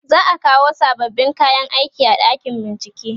za'a kawo sababbin kayan aiki a ɗakin bincike